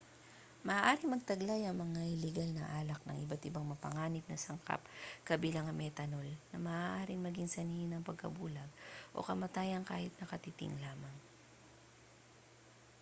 maaaring magtaglay ang mga iligal na alak ng iba't ibang mapanganib na sangkap kabilang ang methanol na maaaring maging sanhi ng pagkabulag o kamatayan kahit na katiting lamang